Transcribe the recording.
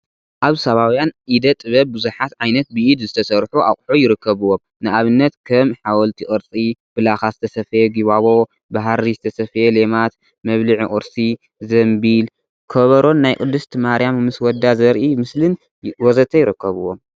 አብ ሳባውያን ኢደ-ጥበብ ብዙሓት ዓይነት ብኢድ ዝተሰርሑ አቁሑ ይርከቡዎም፡፡ ንአብነት ከም ሓወልቲ ቅርፂ፣ ብላካ ዝተሰፈየ ጊባቦ፣ ብሃሪ ዝተሰፈየ ሌማት፣ መብልዒ ቁርሲ፣ ዘምቢል ፣ከበሮን ናይ ቅድስት ማርያም ምስ ወዳ ዘርኢ ስእሊን ወዘተ ይርከቡዎም፡፡